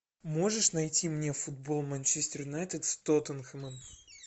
можешь найти мне футбол манчестер юнайтед с тоттенхэмом